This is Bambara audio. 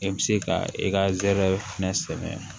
E bɛ se ka i ka zɛrɛ fɛnɛ sɛgɛn